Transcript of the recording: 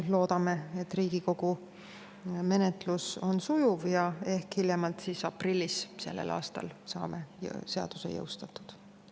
Loodame, et Riigikogu menetlus on sujuv ja me hiljemalt aprillis sellel aastal saame seaduse jõustatud.